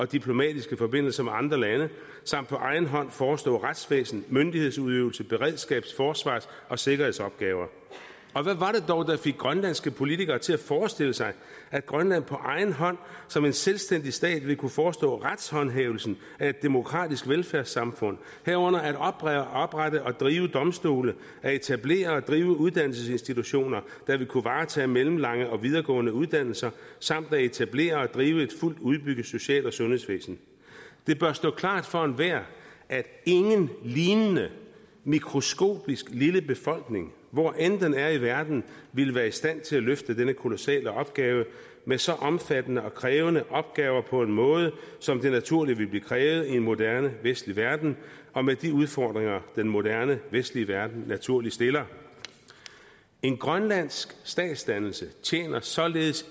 diplomatiske forbindelser med andre lande samt på egen hånd forestår retsvæsen myndighedsudøvelse beredskabs forsvars og sikkerhedsopgaver hvad var det dog der fik grønlandske politikere til at forestille sig at grønland på egen hånd som en selvstændig stat vil kunne forestå retshåndhævelsen af et demokratisk velfærdssamfund herunder at oprette oprette og drive domstole at etablere og drive uddannelsesinstitutioner der vil kunne varetage mellemlange og videregående uddannelser samt at etablere og drive et fuldt udbygget social og sundhedsvæsen det bør stå klart for enhver at ingen lignende mikroskopisk lille befolkning hvor end den er i verden vil være i stand til at løfte denne kolossale opgave med så omfattende og krævende opgaver på en måde som det naturligt vil blive krævet i en moderne vestlig verden og med de udfordringer den moderne vestlige verden naturligt stiller en grønlandsk statsdannelse tjener således